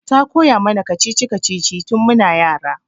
Ta koya mana kacici-kacici tin mun yara